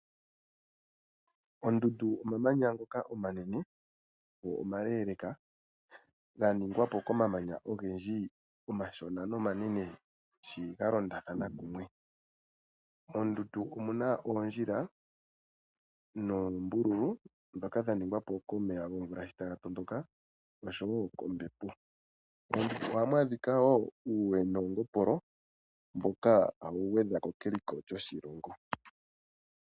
Ondundu omamanya ngoka omanene go omaleleeka ga ningwa po komamanya ogendji omashona nomanene shi ga londathana kumwe. Moondundu omuna oondjila noombululu ndhoka dha ningwa po komeya gomvula sho taga tondoka noshowo kombepo. Moondundu ohamu adhika uuwe noongopolo mboka hawu gwedha ko keliko lyoshilongo.